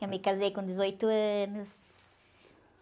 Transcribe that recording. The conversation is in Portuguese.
Eu me casei com dezoito anos.